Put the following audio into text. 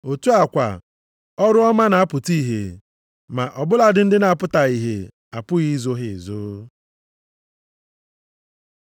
Otu a kwa, ọrụ ọma na-apụta ihe, ma ọ bụladị ndị na-apụtaghị ihe, apụghị izo ha ezo.